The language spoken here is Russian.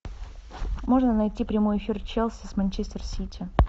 можно найти прямой эфир челси с манчестер сити